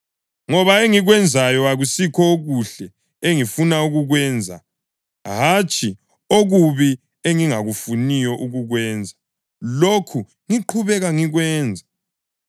Ngoba engikwenzayo akusikho okuhle engifuna ukukwenza; hatshi, okubi engingafuniyo ukukwenza, lokhu ngiqhubeka ngikwenza.